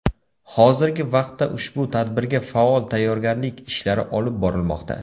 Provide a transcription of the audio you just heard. Hozirgi vaqtda ushbu tadbirga faol tayyorgarlik ishlari olib borilmoqda.